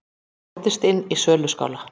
Brotist inn í söluskála